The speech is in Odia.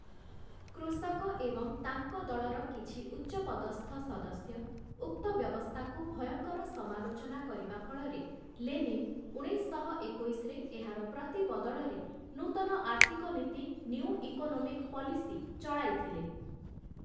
କୃଷକ ଏବଂ ତାଙ୍କ ଦଳର କିଛି ଉଚ୍ଚପଦସ୍ଥ ସଦସ୍ୟ ଉକ୍ତ ବ୍ୟବସ୍ଥାକୁ ଭୟଙ୍କର ସମାଲୋଚନା କରିବା ଫଳରେ ଲେନିନ୍ ଉଣେଇଶଶହ ଏକୋଇଶରେ ଏହାର ପ୍ରତି ବଦଳରେ ନୂତନ ଆର୍ଥିକ ନୀତି ନିଉ ଇକୋନୋମିକ୍ ପଲିସି ଚଳାଇଥିଲେ ।